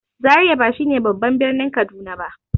Zariya ba shi ne babban birnin Kaduna ba.